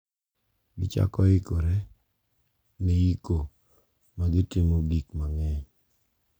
Gichako ikore ne iko kagitimo gik mang`eny.